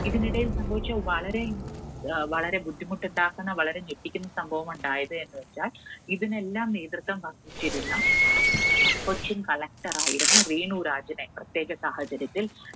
ഇതിനിടയിൽ സംഭവിച്ച വളരെ, വളരെ ബുദ്ധിമുട്ടുണ്ടാക്കുന്ന വളരെ ഞെട്ടിക്കുന്ന സംഭവം ഉണ്ടായത് എന്ന് വെച്ചാൽ ഇതിനെല്ലാം നേതൃത്വം വഹിച്ചിരുന്ന കൊച്ചിൻ Collector യിരുന്ന രേണുരാജിനെ പ്രത്യേക സാഹചര്യത്തിൽ